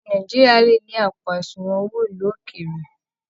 Ọmọ Nàìjíríà le ni àpò àsùnwọ̀n owó ilú òkéré.